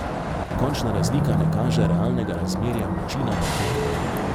Končna razlika ne kaže realnega razmerja moči na parketu.